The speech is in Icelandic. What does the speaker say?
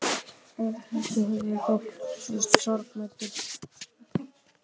Örn hristi höfuðið og þóttist sorgmæddur.